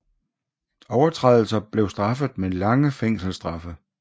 Overtrædelser blev straffet med lange fængselsstraffe